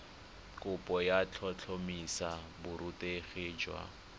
kopo go tlhotlhomisa borutegi jwa